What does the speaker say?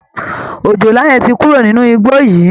Òjòlá yẹn ti kúrò nínú igbó yìí